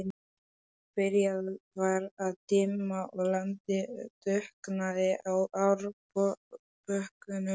Byrjað var að dimma og landið dökknaði á árbökkunum.